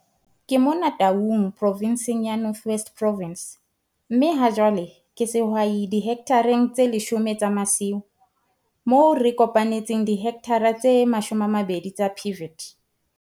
Ke mona Taung Provenseng ya North West Province, mme hajwale ke sehwai dihekthareng tse 10 tsa masimo moo re kopanetseng dihekthara tse 20 tsa pivot.